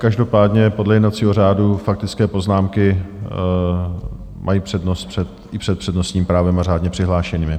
Každopádně podle jednacího řádu faktické poznámky mají přednost i před přednostním právem a řádně přihlášenými.